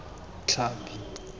tlhapi